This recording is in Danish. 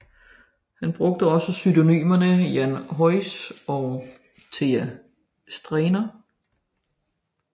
Han brugte også pseudonymerne Jan Hyoens og Thea Streiner